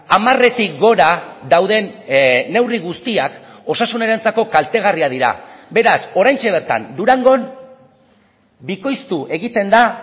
hamaretik gora dauden neurri guztiak osasunarentzako kaltegarriak dira beraz oraintxe bertan durangon bikoiztu egiten da